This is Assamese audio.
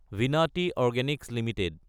Vinati Organics Ltd